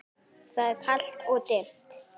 Það er kalt og dimmt.